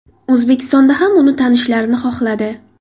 O‘zbekistonda ham uni tanishlarini xohladi.